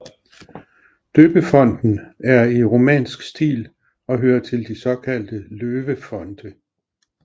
Døbefonten er i romansk stil og hører til de såkaldte løvefonte